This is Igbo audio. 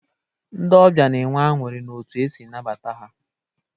Ndị ọbịa na-enwe aṅụrị n'otu e si nabata ha.